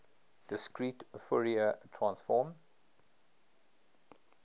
discrete fourier transform